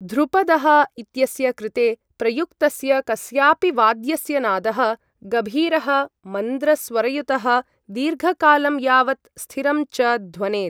ध्रुपदः इत्यस्य कृते प्रयुक्तस्य कस्यापि वाद्यस्य नादः गभीरः, मन्द्र स्वरयुतः, दीर्घकालं यावत् स्थिरं च ध्वनेत्।